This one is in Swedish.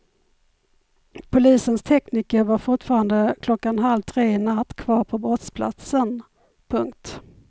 Polisens tekniker var fortfarande klockan halv tre i natt kvar på brottsplatsen. punkt